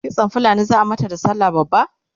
kitsan fulani zaa mata da sallah babba?